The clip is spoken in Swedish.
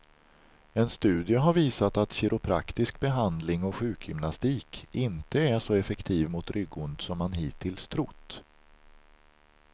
En studie har visat att kiropraktisk behandling och sjukgymnastik inte är så effektiv mot ryggont som man hittills trott.